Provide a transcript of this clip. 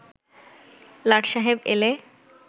লাট সায়েব এলে